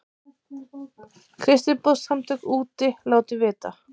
Kristniboðssamtök úti látin vita